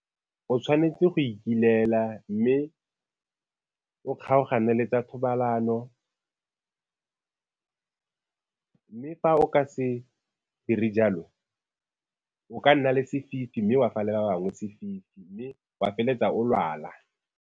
O tshwanetse go ikilela mme o kgaogane le tsa thobalano mme fa o ka se dire jalo o ka nna le sefifi mme wa fa le ba bangwe sefifi mme wa feleletsa o lwala.